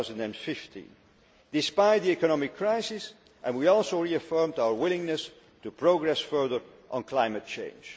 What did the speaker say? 2015. Despite the economic crisis, we also reaffirmed our willingness to progress further on climate change.